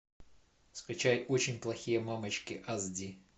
скачай очень плохие мамочки ас ди